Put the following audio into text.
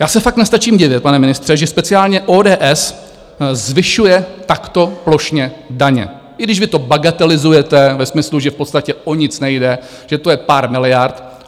Já se fakt nestačím divit, pane ministře, že speciálně ODS zvyšuje takto plošně daně, i když vy to bagatelizujete ve smyslu, že v podstatě o nic nejde, že to je pár miliard.